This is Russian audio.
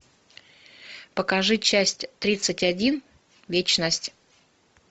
покажи часть тридцать один вечность